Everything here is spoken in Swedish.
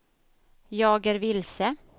jag är vilse